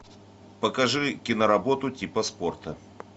покажи киноработу типа спорта